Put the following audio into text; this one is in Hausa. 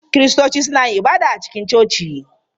Kiristoci suna yin ibada a cikin coci.